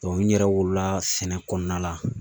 n yɛrɛ wolola sɛnɛ kɔnɔna la